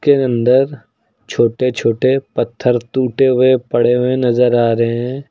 के अंदर छोटे छोटे पत्थर टूटे हुए पड़े हुए नजर आ रहे हैं।